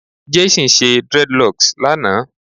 Jason ṣe dreadlocks lana